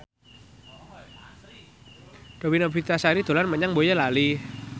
Dewi Novitasari dolan menyang Boyolali